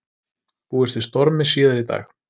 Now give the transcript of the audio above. Búist við stormi síðar í dag